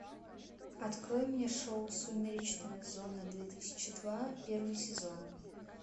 открой мне шоу сумеречная зона две тысячи два первый сезон